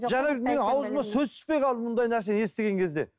жаңа менің аузыма сөз түспей қалды мұндай нәрсе естіген кезде